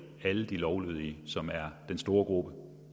alle de lovlydige som er den store gruppe